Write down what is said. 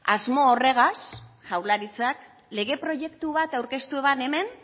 asmo horregaz jaurlaritzak lege proiektu bat aurkeztu eban hemen